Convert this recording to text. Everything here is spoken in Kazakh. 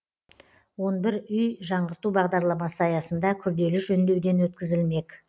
он бір үй жаңғырту бағдарламасы аясында күрделі жөндеуден өткізілмек